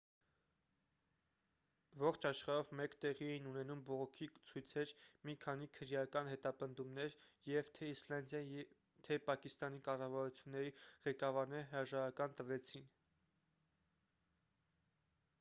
ողջ աշխարհով մեկ տեղի էին ունենում բողոքի ցույցեր մի քանի քրեական հետապնդումներ և թե իսլանդիայի թե պակիստանի կառավարությունների ղեկավարները հրաժարական տվեցին